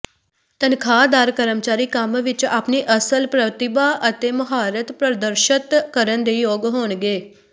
ਤਨਖਾਹਦਾਰ ਕਰਮਚਾਰੀ ਕੰਮ ਵਿਚ ਆਪਣੀ ਅਸਲ ਪ੍ਰਤਿਭਾ ਅਤੇ ਮੁਹਾਰਤ ਪ੍ਰਦਰਸ਼ਤ ਕਰਨ ਦੇ ਯੋਗ ਹੋਣਗੇ